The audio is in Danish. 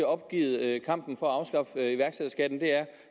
opgivet kampen for